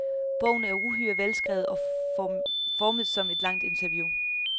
Bogen er uhyre velskrevet og formet som et langt interview.